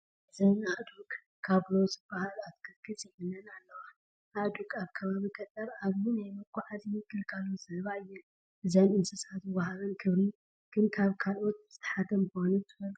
እዘን ኣእዱግ ካብሎ ዝበሃል ኣትክልቲ ፅዒነን ኣለዋ፡፡ ኣእዱግ ኣብ ከባቢ ገጠር ዓብዪ ናይ መጓዓዓዚ ግልጋሎት ዝህባ እየን፡፡ እዘን እንስሳ ዝወሃበን ክብሪ ግን ካብ ኣልኦት ዝተሓተ ምኳኑ ትፈልጡ ዶ?